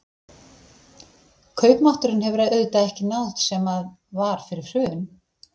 Kaupmátturinn hefur auðvitað ekki náð sem að var fyrir hrun?